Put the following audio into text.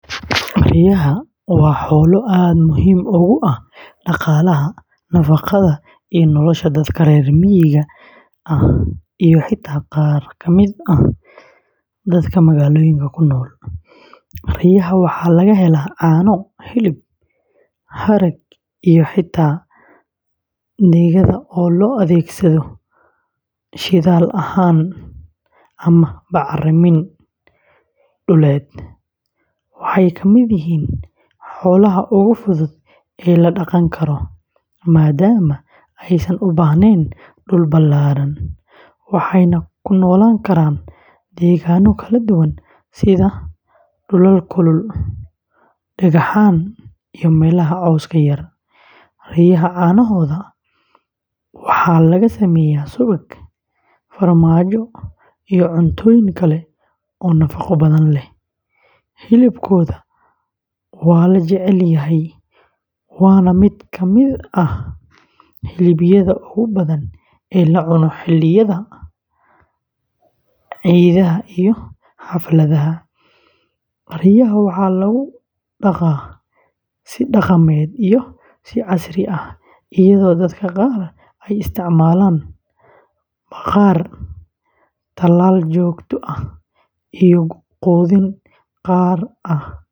Riyaha waa xoolo aad muhiim ugu ah dhaqaalaha, nafaqada, iyo nolosha dadka reer miyiga ah iyo xitaa qaar ka mid ah dadka magaalooyinka ku nool. Riyaha waxaa laga helaa caano, hilib, harag, iyo xitaa digada oo loo adeegsado shidaal ahaan ama bacramin dhuleed. Waxay ka mid yihiin xoolaha ugu fudud ee la dhaqan karo, maadaama aysan u baahnayn dhul ballaaran, waxayna ku noolaan karaan deegaanno kala duwan sida dhulal kulul, dhagaxan, iyo meelaha cawska yar. Riyaha caanahooda waxaa laga sameeyaa subag, farmaajo iyo cuntooyin kale oo nafaqo badan leh. Hilibkooda waa la jecel yahay, waana mid ka mid ah hilibyada ugu badan ee la cuno xilliyada ciidaha iyo xafladaha. Riyaha waxaa lagu dhaqaa si dhaqameed iyo si casri ah, iyadoo dadka qaar ay isticmaalaan bakhaar, talaal joogto ah, iyo quudin gaar ah.